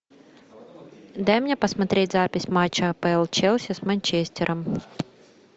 дай мне посмотреть запись матча апл челси с манчестером